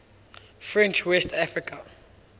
french west africa